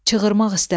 Çığırmaq istədi.